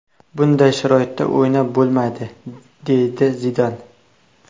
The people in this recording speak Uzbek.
Bunday sharoitda o‘ynab bo‘lmaydi”, deydi Zidan.